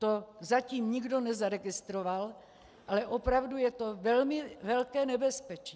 To zatím nikdo nezaregistroval, ale opravdu je to velmi velké nebezpečí.